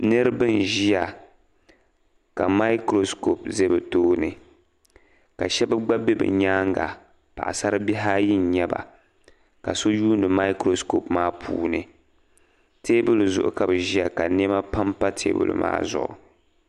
Niriba n-ʒia ka maikurosikɔpu za bɛ tooni ka shɛba gba be bɛ nyaaŋga paɣisaribihi ayi n-nyɛ ba ka so yuuni maikurosikɔpu maa puuni. Teebuli zuɣu ka bɛ ʒia ka nɛma pampa teebuli maa zuɣu.